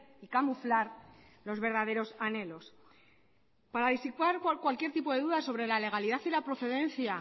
y camuflar los verdaderos anhelos para disipar cualquier tipo de duda sobre la legalidad y la procedencia